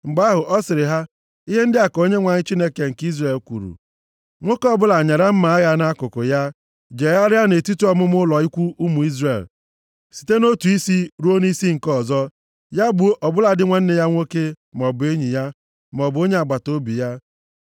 Mgbe ahụ, ọ sịrị ha, “Ihe ndị a ka Onyenwe anyị, Chineke nke Izrel kwuru, ‘Nwoke ọbụla nyara mma agha ya nʼakụkụ ya, + 32:27 Nwoke ọ bụla kee mma agha ya nʼukwu ya jegharịa nʼetiti ọmụma ụlọ ikwu ụmụ Izrel, site nʼotu isi ruo nʼisi nke ọzọ. Ya gbuo ọbụladị nwanne ya nwoke, maọbụ enyi ya, maọbụ onye agbataobi ya.’ ”